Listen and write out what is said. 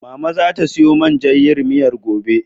Mama zata siyo man jan yin miyar gobe.